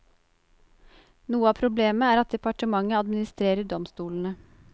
Noe av problemet er at departementet administerer domstolene.